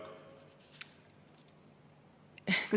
Kas juba läbi?